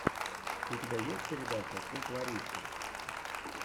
у тебя есть передача шик ларисы